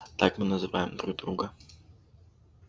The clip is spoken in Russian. так мы называем друг друга